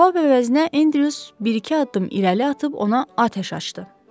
Cavab əvəzinə Andrews bir-iki addım irəli atıb ona atəş açdı.